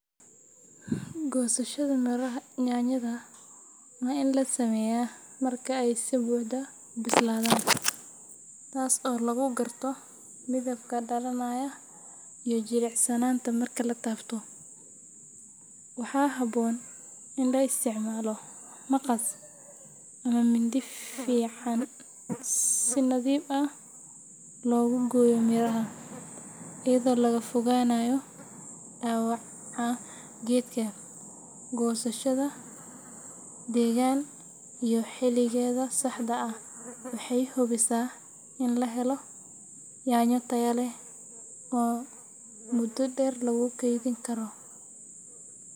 Goosashada yaanyada waa in la sameeyaa marka ay si buuxda u bislaadaan, taasoo lagu garto midabka dhalaalaya iyo jilicsanaanta marka la taabto. Waxaa habboon in la isticmaalo maqas ama mindi fiiqan si si nadiif ah loogu gooyo miraha, iyadoo laga fogaanayo dhaawaca geedka. Goosashada degan iyo xilligeeda saxda ah waxay hubisaa in la helo yaanyo tayo leh oo muddo dheer lagu keydin karo.